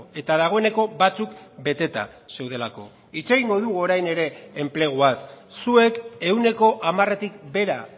eta dagoeneko batzuk beteta zeudelako hitz egingo dugu orain ere enpleguaz zuek ehuneko hamaretik behera